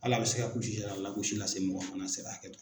Ala a bɛ se kulusijalala gosi lase se mɔgɔ fana se hakɛ to.